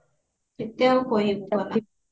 ଏତେ ଆଉ କହି